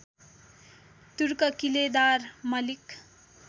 तुर्क किलेदार मलिक